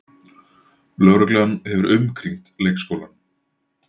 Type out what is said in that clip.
Lögreglan hefur umkringt leikskólann